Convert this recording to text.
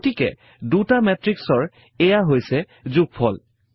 গতিকে দুটা মেত্ৰিক্সৰ এইয়া হৈছে যোগফল